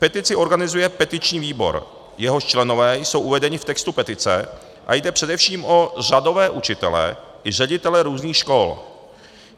Petici organizuje petiční výbor, jehož členové jsou uvedeni v textu petice, a jde především o řadové učitele i ředitele různých škol.